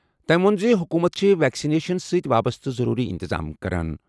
تٔمۍ ووٚن زِ حکوٗمت چھِ ویکسِنیشن سۭتۍ وابستہٕ ضروٗری اِنتِظام کران۔